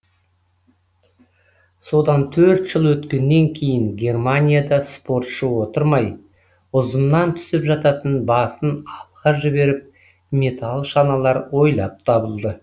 содан төрт жыл өткеннен кейін германияда спортшы отырмай ұзыннан түсіп жататын басын алға жіберіп металл шаналар ойлап табылды